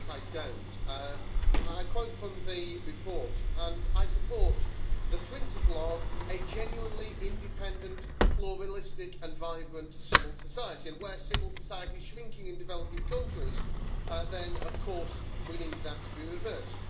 I quote from the report and I support the principle of a genuinely independent pluralistic and vibrant civil society'. Where civil society is shrinking in developing countries, then of course we need that to be reversed.